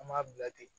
An m'a bila ten